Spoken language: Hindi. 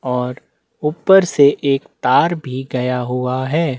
और ऊपर से एक तार भी गया हुआ है।